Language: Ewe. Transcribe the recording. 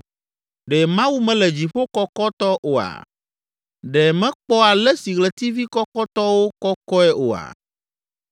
“Ɖe Mawu mele dziƒo kɔkɔtɔ oa? Ɖe mekpɔ ale si ɣletivi kɔkɔtɔwo kɔkɔe oa?